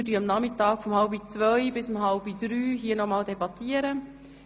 Wir werden von 13.30 Uhr bis 14.30 Uhr noch einmal debattieren.